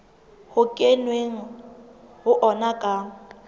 ho kenweng ho ona ka